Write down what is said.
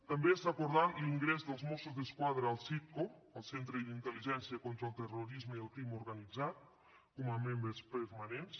també s’ha acordat l’ingrés dels mossos d’esquadra al citco el centre d’intel·ligència contra el terrorisme i el crim organitzat com a membres permanents